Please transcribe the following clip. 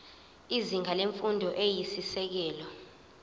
izinga lemfundo eyisisekelo